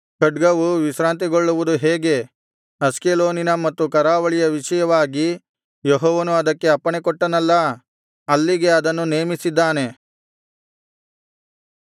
ಖಡ್ಗವು ವಿಶ್ರಾಂತಿಗೊಳ್ಳುವುದು ಹೇಗೆ ಅಷ್ಕೆಲೋನಿನ ಮತ್ತು ಕರಾವಳಿಯ ವಿಷಯವಾಗಿ ಯೆಹೋವನು ಅದಕ್ಕೆ ಅಪ್ಪಣೆಕೊಟ್ಟನಲ್ಲಾ ಅಲ್ಲಿಗೆ ಅದನ್ನು ನೇಮಿಸಿದ್ದಾನೆ